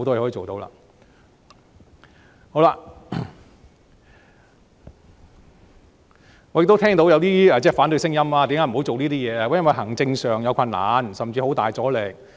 好了，我亦聽到有一些反對聲音，辯說為何不能做這些事，說是因為行政上有困難，甚至會遇到很大阻力。